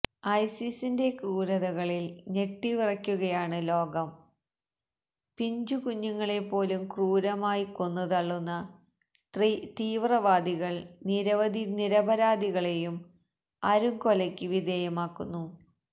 ഐസിസിന്റെ ക്രൂരതകളില് ഞെട്ടിവിറയ്ക്കുകയാണ് ലോകം പിഞ്ചുകുഞ്ഞുങ്ങളെ പോലും ക്രൂരമായി കൊന്നുതള്ളുന്ന തീവ്രാവാദികള് നിരവധി നിരപരാധികളെയും അരും കൊലയ്ക്ക് വിധേയമാക്കുന്നു